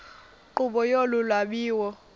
nkqubo yolu lwabiwo